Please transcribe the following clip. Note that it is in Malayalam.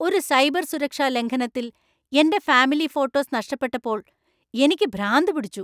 ഒരു സൈബർ സുരക്ഷാ ലംഘനത്തിൽ എന്‍റെ ഫാമിലി ഫോട്ടോസ് നഷ്ടപ്പെട്ടപ്പോൾ എനിക്ക് ഭ്രാന്ത് പിടിച്ചു.